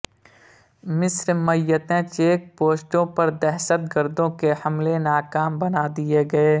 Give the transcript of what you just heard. مصرمیںتین check پوسٹوں پردہشت گردوں کے حملے ناکام بنا دیے گئے